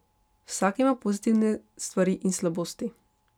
Vsak ima pozitivne stvari in slabosti.